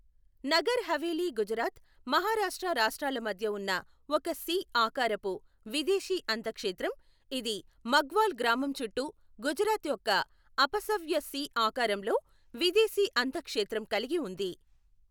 నగర్ హవేలీ గుజరాత్, మహారాష్ట్ర రాష్ట్రాల మధ్య ఉన్న ఒక సి ఆకారపు విదేశీ అంతఃక్షేత్రం, ఇది మగ్వాల్ గ్రామం చుట్టూ గుజరాత్ యొక్క అపసవ్య సి ఆకారంలో విదేశీ అంతఃక్షేత్రం కలిగి ఉంది.